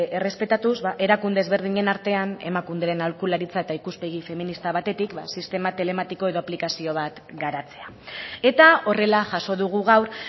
errespetatuz erakunde ezberdinen artean emakunderen aholkularitza eta ikuspegi feminista batetik sistema telematiko edo aplikazio bat garatzea eta horrela jaso dugu gaur